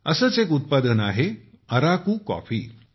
असेच एक उत्पादन आहे अराकू कॉफी